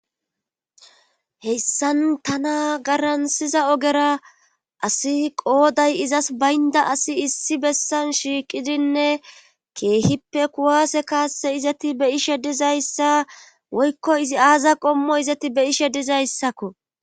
hessan tana garansiza ogera asi qooday izas baynda asi issi bessan shiiqidinne keehippe kuwaase kaasse izati be ishe dizayssa woykko izi aaza qommo izati be ishe dizayssakko